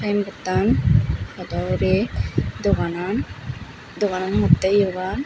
iyen pottan podaw hurey doganan doganan hongottey iyegan.